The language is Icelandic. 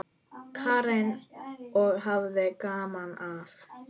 Karen: Og hafði gaman af?